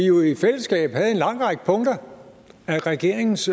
jo i fællesskab en lang række punkter i regeringens